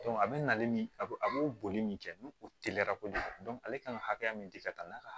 a bɛ na ale min a bɛ a b'o boli min kɛ ni o teliyara kojugu ale kan ka hakɛya min di ka taa n'a ka